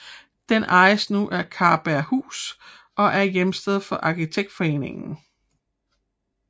Den ejes nu af Karberghus og er hjemsted for Arkitektforeningen